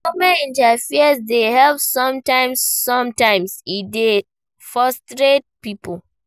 Government interferance dey help sometimes, sometimes e dey frustrate pipo